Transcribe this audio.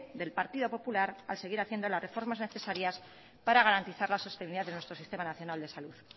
del partido popular a seguir haciendo las reformas necesarias para garantizar la sostenibilidad de nuestro sistema nacional de salud